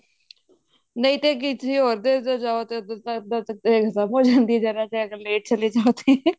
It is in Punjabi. ਨਹੀਂ ਤੇ ਕਿਸੇ ਹੋਰ ਦੇ ਜਾਓ ਤੇ ਅੱਗੋਂ ਤਾਂ ਖਤਮ ਹੋ ਜਾਂਦੀ ਹੈ ਜਰਾ ਜਾ late ਚਲੇ ਜਾਓ ਤੇ